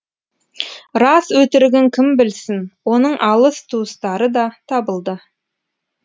рас өтірігін кім білсін оның алыс туыстары да табылды